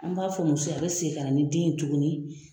An b'a fɔ muso ye a bɛ segin ka ni den ye tuguni